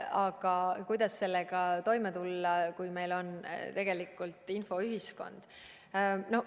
Aga kuidas sellega toime tulla, kui meil on tegelikult infoühiskond?